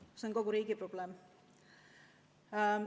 See on kogu riigi probleem.